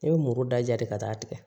I bɛ muru da de ka taa tigɛ